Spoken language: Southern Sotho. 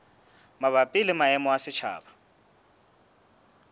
mabapi le maemo a setjhaba